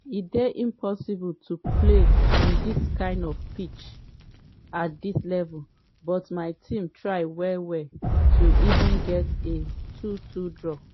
“e dey impossible to play on dis kind pitch at dis level; but my team try well well to even get a 2-2 draw.”